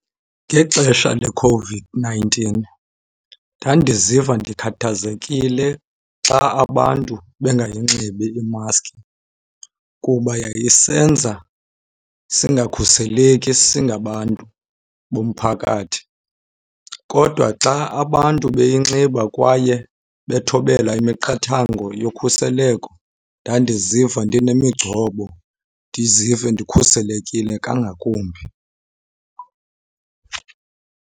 Ngexesha leCOVID-nineteen ndandiziva ndikhathazekile xa abantu bengayinxibi imaski, kuba yayisenza singakhuseleki singabantu bomphakathi. Kodwa xa abantu beyinxiba kwaye bethobela imiqathango yokhuseleko ndandiziva ndinemigcobo, ndizive ndikhuselekile kangakumbi.